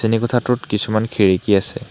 শ্ৰেণীকোঠাটোত কিছুমান খিৰিকী আছে।